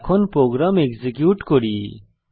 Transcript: এখন program execute করি